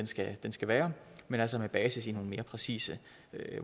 skal skal være men altså med basis i nogle mere præcise